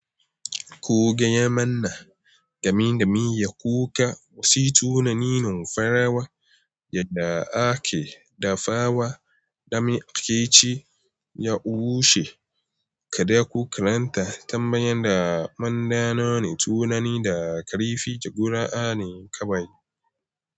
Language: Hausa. Ko gaya mana game da miya kuka, wasu tunanin farawa yadda ake dafawa, dama ake ci ya bushe, ka dai ku karanta tambayan da mada none tunani da karifi gudanar kawai.